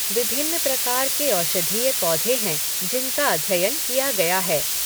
विभिन्न प्रकार के औषधीय पौधे हैं, जिनका अध्ययन किया गया है।